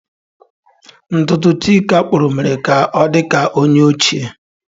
Ntutu Chika kpuru mere ka o di ka onye ochie.